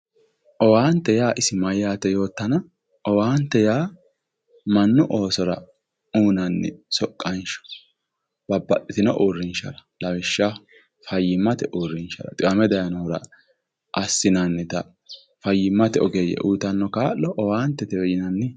Owaante yaa isi mayyaate yoottana, owaante yaa mannu oosora uurrinshara lawishshaho fayyimate uurrinsha assinannita fayyimmate ogeeyye uuyiitanno kaa'lo owaantetewe yinanni.